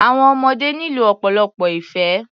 Àwọn ọmọdé nílò ọ̀pọ̀lọpọ̀ ìfẹ́.